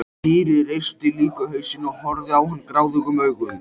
Týri reisti líka hausinn og horfði á hann gráðugum augum.